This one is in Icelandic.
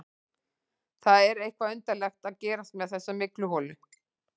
Það er eitthvað undarlegt að gerast með þessa mygluholu.